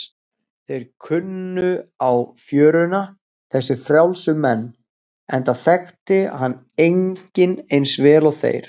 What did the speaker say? Þeir kunnu á fjöruna, þessir frjálsu menn, enda þekkti hana enginn eins vel og þeir.